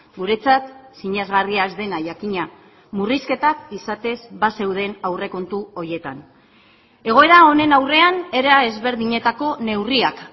guretzat sinesgarria ez dena jakina murrizketak izatez bazeuden aurrekontu horietan egoera honen aurrean era ezberdinetako neurriak